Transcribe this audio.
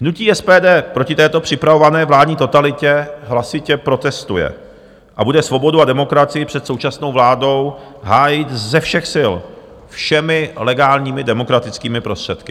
Hnutí SPD proti této připravované vládní totalitě hlasitě protestuje a bude svobodu a demokracii před současnou vládou hájit ze všech sil, všemi legálními demokratickými prostředky.